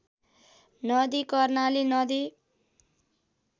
नदी कर्णाली नदी